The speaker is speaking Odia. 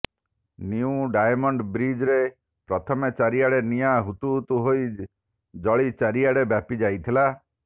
ନ୍ୟୁ ଡାଏମଣ୍ଡ ବ୍ରିଜ୍ରେ ପ୍ରଥମେ ଚାରିଆଡ଼େ ନିଆଁ ହୁତୁ ହୁତୁ ହୋଇ ଜଳି ଚାରିଆଡ଼େ ବ୍ୟାପି ଯାଇଥିଲା